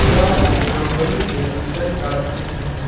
यह एक कंपनी के अंदर का दृश्य है।